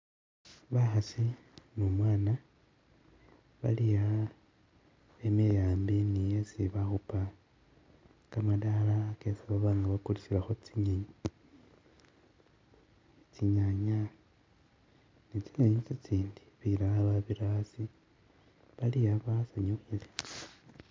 Bakhaasi ne umwana bali aa bemile ambi ne esi bakhupa kamadala kesi baba nga bakulisilakho tsinyenyi, tsinyanya ne tsinyenyi tsintsindi, bilala babira asi bali'a bsanyukhile